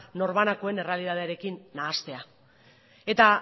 norbanakoen errealitatearekin nahastea eta